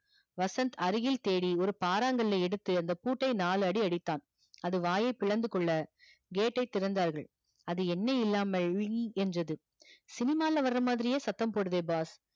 வசந்த் அருகில் தேடி ஒரு பாரங்கல்லை எடுத்து அந்த பூட்டை நாலு அடி அடித்தான் அது வாயை பிளந்து கொள்ள gate டை திறந்தார்கள் அது என்னை இல்லாமல் என்றது cinema ல வரா மாதிரியே சத்தம் போடுதே boss